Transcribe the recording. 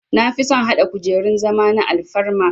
Nafison hada kujerun zama na alfarma